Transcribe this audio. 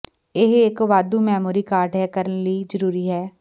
ਇਹ ਇੱਕ ਵਾਧੂ ਮੈਮੋਰੀ ਕਾਰਡ ਹੈ ਕਰਨ ਲਈ ਜ਼ਰੂਰੀ ਹੈ